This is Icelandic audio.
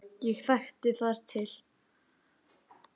Ég þekki þar til.